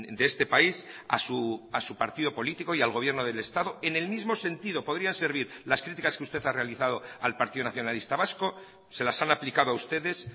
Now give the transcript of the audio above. de este país a su partido político y al gobierno del estado en el mismo sentido podrían servir las críticas que usted ha realizado al partido nacionalista vasco se las han aplicado a ustedes